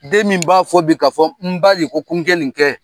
Den min b'a fɔ bi ka fɔ n ba de koko n ka nin kɛ,